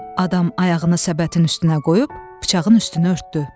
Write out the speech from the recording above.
Adam ayağını səbətin üstünə qoyub bıçağın üstünü örtdü.